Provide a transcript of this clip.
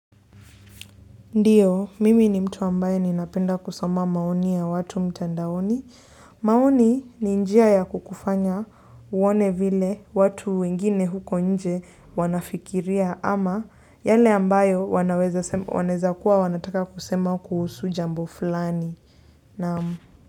Ndiyo, mimi ni mtu ambayo ninapenda kusoma maoni ya watu mtandaoni. Maoni ni njia ya kukufanya uone vile watu wengine huko nje wanafikiria ama yale ambayo wanaweza kuwa wanataka kusema kuhusu jambo fulani.